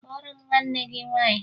Kpọọrọ m nwanne gị nwaanyị!